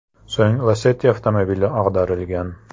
So‘ng Lacetti avtomobili ag‘darilgan.